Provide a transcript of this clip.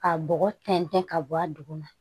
Ka bɔgɔ tɛntɛn ka bɔ a duguma